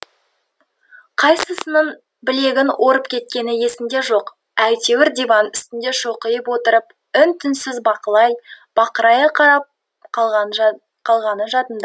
қайсысының білегін орып кеткені есінде жоқ әйтеуір диван үстінде шоқиып отырып үн түнсіз бақылай бақырая қарап қалғаны жадында